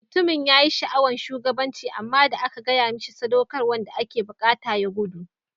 Mutumin yayi sha'awan shugabancin amma da an gaya mishi saudakarwan da yake buƙata ya gudu.